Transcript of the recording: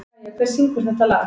Kæja, hver syngur þetta lag?